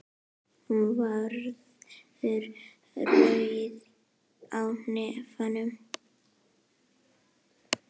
Hún verður rauð á nefinu.